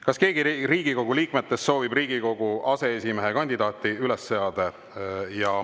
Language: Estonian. Kas keegi Riigikogu liikmetest soovib Riigikogu aseesimehe kandidaati üles seada?